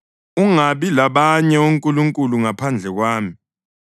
Ungabi labanye onkulunkulu ngaphandle kwami.